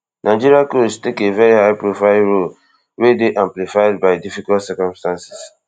nigeria coach take a veri highprofile role wey dey amplified by difficult circumstances